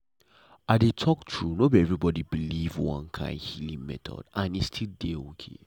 i dey talk true no be everybody believe one kind healing method and e still dey okay.